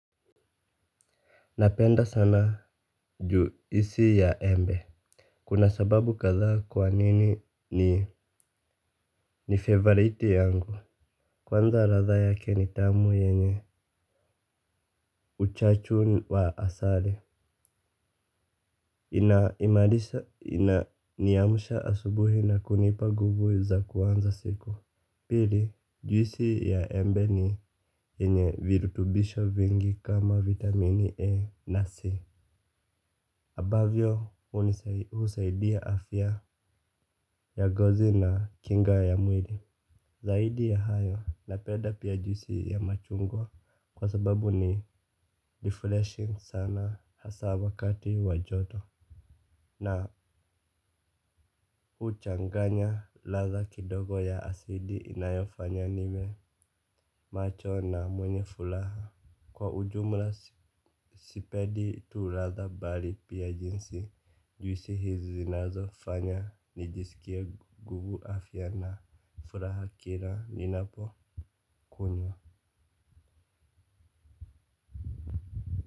Napenda sana juisi ya embe. Kuna sababu kadhaa kwa nini ni favoriti yangu. Kwanza radha yake ni tamu yenye uchachu wa asale. Inaimarisa inaniamsha asubuhi na kunipa guvu za kuanza siku. Pili juisi ya embe ni yenye virutubisho vingi kama vitamini E na C. Abavyo hunisaidia afya ya gozi na kinga ya mwili. Zaidi ya hayo napeda pia juisi ya machungwa kwa sababu ni deflation sana hasa wakati wa joto. Na huchanganya ladha kidogo ya asidi inayofanya niwe macho na mwenye fulaha. Kwa ujumla sipedi tu ladha bali pia jinsi juisi hizi zinazofanya nijisikie gugu afya na furaha kira ninapokunywa.